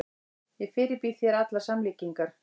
Ég fyrirbýð þér allar samlíkingar.